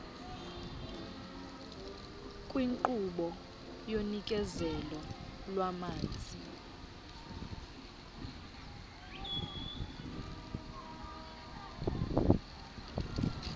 kwinkqubo yonikezelo lwamanzi